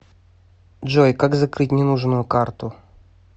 джой как закрыть ненужную карту